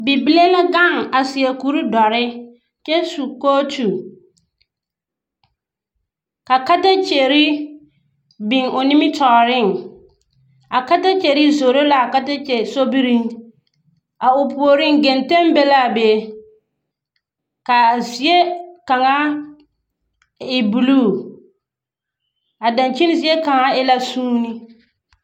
Bibiiri la be babɔge poɔ a ɔnnɔ kõɔ. Ba ela bibiiri banaare. Ba zaaŋ taa bootiri a ɔnnɔ a kõɔ a booti kaŋ waa la pelaa a bie n kaŋ su la kparoŋ ka o waa dɔre. ka ba zaa ɔnnɔ a kõɔ a babɔge poɔ.